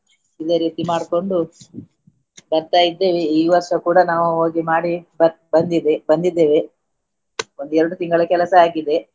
ಇದೆ ರೀತಿ ಮಾಡ್ಕೊಂಡು ಬರ್ತಾ ಇದ್ದೇವೆ ಈ ವರ್ಷ ಕೂಡಾ ನಾವು ಹೋಗಿ ಮಾಡಿ ಬ~ ಬಂದಿದ್ದೆ ಬಂದಿದ್ದೇವೆ ಒಂದು ಎರಡು ತಿಂಗಳ ಕೆಲಸ ಆಗಿದೆ.